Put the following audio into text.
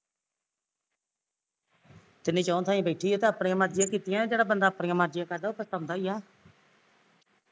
ਤਿਨੀ ਚੁਹ ਥਾਈ ਬੈਠੀ ਐ ਤੇ ਆਪਣੀਆ ਮਰਜ਼ੀਆ ਈ ਕੀਤੀਆ ਐ ਜਿਹੜਾ ਬੰਦਾ ਆਪਣੀਆ ਮਰਜ਼ੀਆ ਕਰਦਾ ਉਹ ਪਛਤਾਉਂਦਾ ਈ ਆ